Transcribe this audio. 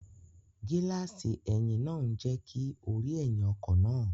Gíláàsì ẹ̀yìn náà ń jẹ́ kí o rí ẹ̀yìn ọkọ̀ náà